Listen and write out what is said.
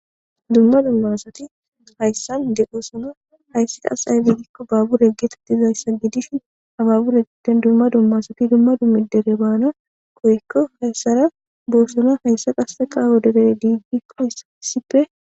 Dumma dumma asati hayssan de7oosona. Hayssi asay woykko baabure geetettizayssa gidishin ha baabure giddon dumma dumma asati dumma dummi dere baana koykko hayssara boossona. Hayssa qasseka woderee diidikko issippe